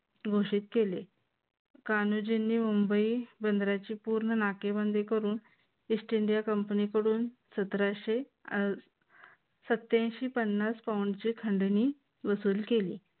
घोषित केले. कान्होजीनी मुंबई बंदराची पूर्ण नाकेबंदी करून east india company कडून सतराशे सत्त्यांशी पन्नासपाऊंड ची खंडणी वसूल केली.